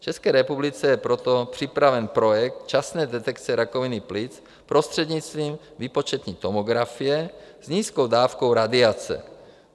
V České republice je proto připraven projekt časné detekce rakoviny plic prostřednictvím výpočetní tomografie s nízkou dávkou radiace.